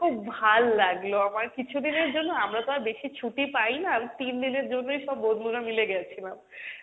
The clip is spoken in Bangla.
খুব ভাল লাগলো আমার কিছুদিনের জন্য আমরা তো আর বেশি ছুটি পাই না, তিন দিনের জন্যই সব বন্ধুরা মিলে গেছিলাম,